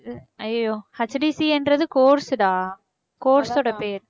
ஐயைய்யோ HDCA ன்றது course டா course ஓட பேர்